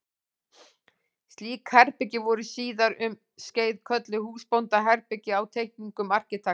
Slík herbergi voru síðar um skeið kölluð húsbóndaherbergi á teikningum arkitekta.